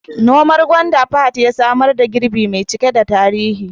Noman gwanda Fahad ya samar da girbi mai cike da tarihi